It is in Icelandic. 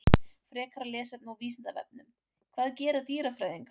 Frekara lesefni á Vísindavefnum: Hvað gera dýrafræðingar?